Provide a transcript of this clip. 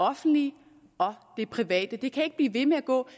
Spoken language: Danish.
offentlige og det private det kan ikke blive ved med at gå vi